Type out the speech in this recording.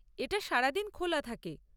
এটা সারাদিন খোলা থাকে।